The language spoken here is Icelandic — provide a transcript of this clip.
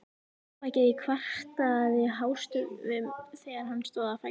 Mjóbakið kvartaði hástöfum þegar hann stóð á fætur.